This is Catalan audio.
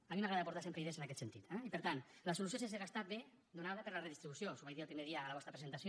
a mi m’agrada aportar sempre idees en aquest sentit eh i per tant la solució sense gastar ve donada per la redistribució us ho vaig dir el primer dia en la vostra presentació